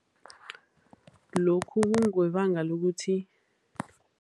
Lokhu kungebanga lokuthi.